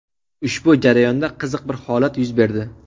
Ushbu jarayonda qiziq bir holat yuz berdi.